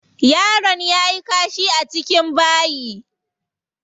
Yaron yayi kashi a cikin bayi.